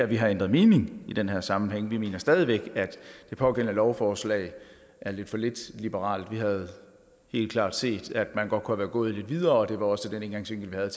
vi har ændret mening i den her sammenhæng vi mener stadig væk at det pågældende lovforslag er lidt for lidt liberalt vi havde helt klart gerne set at man godt kunne være gået lidt videre og det var også den indgangsvinkel vi havde